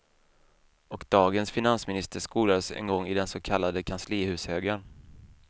Och dagens finansminister skolades en gång i den så kallade kanslihushögern.